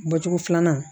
Bɔcogo filanan